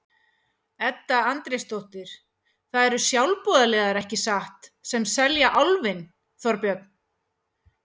Edda Andrésdóttir: Það eru sjálfboðaliðar, ekki satt, sem selja Álfinn, Þorbjörn?